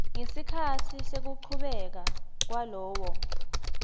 ngesikhatsi sekuchubeka kwalowo